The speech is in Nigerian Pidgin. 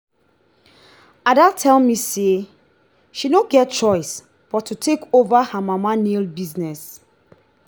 ada tell me say she no get choice but to take over her mama nail business